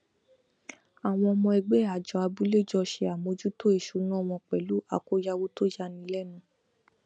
àwọn ọmọ ẹgbẹ àjọ abúlé jọ ṣe àmójútó ìṣúná wọn pẹlú àkóyawọ tó yani lẹnu